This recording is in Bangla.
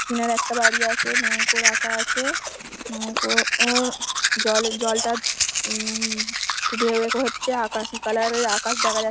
কিনারে একটা বাড়ি আছে নৌকো রাখা আছে নৌকো ওর জল জলটা উম একটু ঢেউ হচ্ছে আকাশি কালার -এর আকাশ দেখা যা--